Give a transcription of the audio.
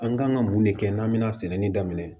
An kan ka mun de kɛ n'an bɛna sɛnɛ ni daminɛ